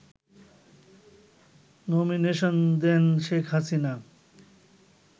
nomination দেন শেখ হাসিনা